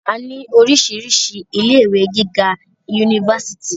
a ní oríṣiríṣi ilé ìwé gíga unifásitì